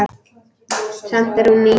Samt er hún ný.